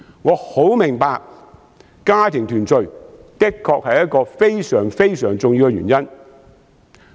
我很明白家庭團聚的確是非常重要的原因。